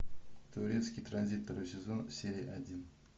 турецкий транзит второй сезон серия один